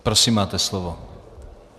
Prosím, máte slovo.